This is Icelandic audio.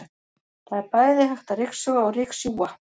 Það er bæði hægt að ryksuga og ryksjúga.